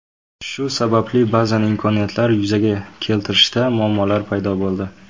Shu sababli ba’zan imkoniyatlar yuzaga keltirishda muammolar paydo bo‘ldi.